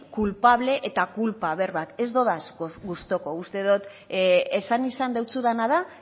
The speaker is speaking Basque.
culpable eta culpa berbak ez ditut gustuko uste dut esan izan dizudana da